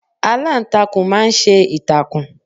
Aláǹtakùn máa ń ṣe ìtàkùn.